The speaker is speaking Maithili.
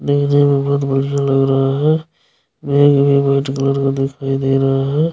देखने में बहुत बढ़िया लग रहा है। भी वाइट कलर का दिखाई दे रहा है।